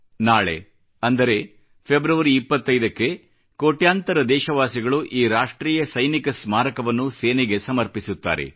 ನಾಳೆ ಅಂದರೆ ಫೆಬ್ರವರಿ 25 ಕ್ಕೆ ಕೋಟ್ಯಾಂತರ ದೇಶವಾಸಿಗಳು ಈ ರಾಷ್ಟ್ರೀಯ ಸ್ಮಾರಕವನ್ನು ಸೇನೆಗೆ ಸಮರ್ಪಿಸುತ್ತೇವೆ